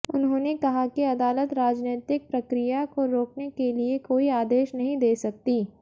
उन्होंने कहा कि अदालत राजनैतिक प्रक्रिया को रोकने के लिए कोई आदेश नहीं दे सकती